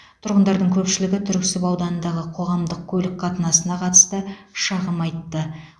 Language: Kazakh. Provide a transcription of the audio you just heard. тұрғындардың көпшілігі түрксіб ауданындағы қоғамдық көлік қатынасына қатысты шағым айтты